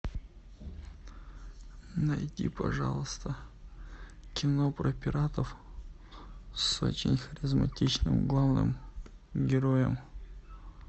найди пожалуйста кино про пиратов с очень харизматичным главным героем